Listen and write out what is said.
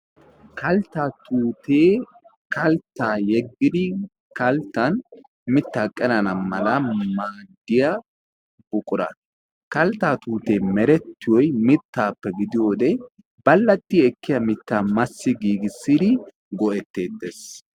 Kaltta tuutee kaltta yeggidi kalttan mittaa qerana mala maaddiyaa buqura kalttaa tuutee merettiyoyi mittaappe gidiyoode ballatti ekkiyaa mittaa massi giigissidi go'etteetes.